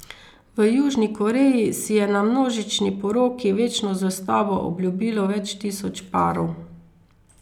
V Južni Koreji si je na množični poroki večno zvestobo obljubilo več tisoč parov.